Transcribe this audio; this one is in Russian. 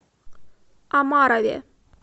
омарове